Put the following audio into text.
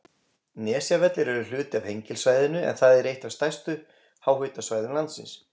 Nesjavellir eru hluti af Hengilssvæðinu, en það er eitt af stærstu háhitasvæðum landsins.